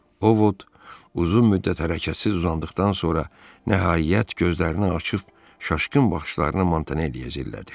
Ovod uzun müddət hərəkətsiz uzandıqdan sonra, nəhayət, gözlərini açıb şaşqın baxışlarını Montanelliyə cillədi.